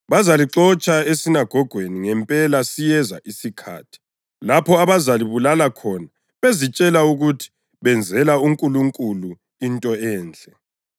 Bazalixotsha esinagogweni; ngempela siyeza isikhathi lapho abazalibulala khona bezitshela ukuthi benzela uNkulunkulu into enhle.